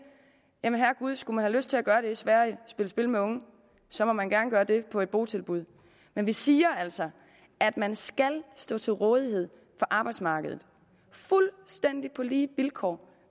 jamen herregud skulle man have lyst til at gøre det i sverige spille spil med unge så må man gerne gøre det på et botilbud men vi siger altså at man skal stå til rådighed for arbejdsmarkedet fuldstændig på lige vilkår